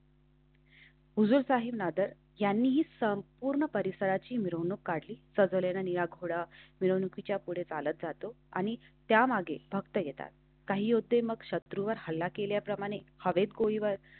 हुजूर साहेब नादर यांनी संपूर्ण परिसराची मिरवणूक काढली. सजवलेल्या घोडा मिरवणुकीच्या पुढे चालत जातो आणि त्यामागे भक्त येतात. काही होते. मग शत्रूवर हल्ला केल्याप्रमाणे हवेत गोळीबार.